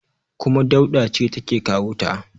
kuma Dauda ce take kawo ta